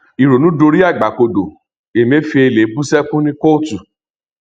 ìrònú dorí àgbà kodò emefèélẹ búṣẹkù ní kóòtù